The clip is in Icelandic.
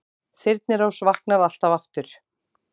Þyrnirós vaknar alltaf aftur